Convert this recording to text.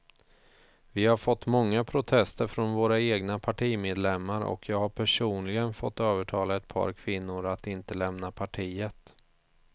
Vi har fått många protester från våra egna partimedlemmar och jag har personligen fått övertala ett par kvinnor att inte lämna partiet.